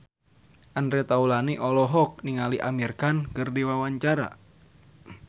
Andre Taulany olohok ningali Amir Khan keur diwawancara